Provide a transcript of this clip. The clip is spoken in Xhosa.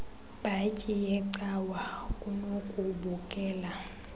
bhatyi yecawa kunokubukela